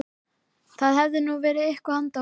Það hefði nú verið eitthvað handa honum